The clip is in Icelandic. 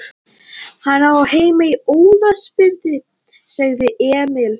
Hann á heima í Ólafsfirði, sagði Emil.